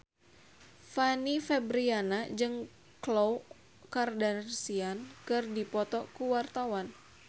Fanny Fabriana jeung Khloe Kardashian keur dipoto ku wartawan